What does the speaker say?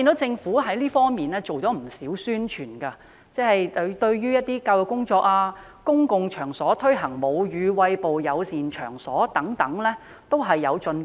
政府在這方面進行不少宣傳，有關的教育工作及在公共場所推廣"母乳餵哺友善場所"均有進步。